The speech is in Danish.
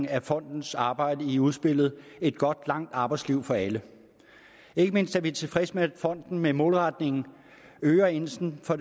af fondens arbejde i udspillet et godt og langt arbejdsliv for alle ikke mindst er vi tilfredse med at fonden med målretningen øger indsatsen for